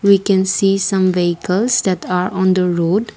we can see some vehicles that are on the road.